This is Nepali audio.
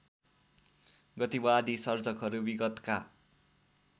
गतिवादी सर्जकहरू विगतका